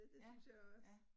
Ja, ja